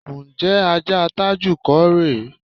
Ǹjé̩ ajá Tájù kò rè é?